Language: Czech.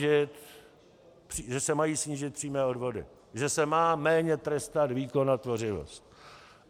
Že se mají snížit přímé odvody, že se má méně trestat výkon a tvořivost.